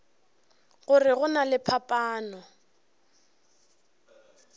gore go na le phapano